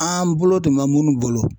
An bolo tun mɛ munnu bolo